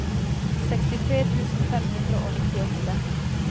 sekstitre tusen fem hundre og nittiåtte